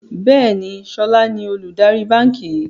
Bẹ́ẹ̀ni, sọlá ni olùdarí báńkì yìí